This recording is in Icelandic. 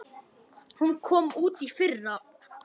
Hún kom út í fyrra.